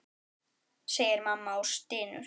segir mamma og stynur.